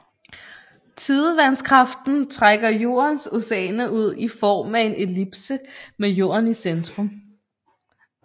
Tidevandskraften trækker Jordens oceaner ud i form af en ellipse med Jorden i centrum